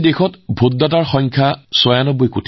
আজি দেশত প্ৰায় ৯৬ কোটি ভোটাৰ আছে